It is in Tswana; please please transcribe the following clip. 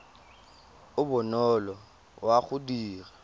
o bonolo wa go dira